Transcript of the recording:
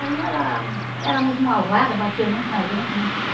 Aí ela era muito malvada, batia muito na gente, né?